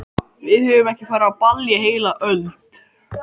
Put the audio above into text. Við höfum ekki farið á ball í heila öld!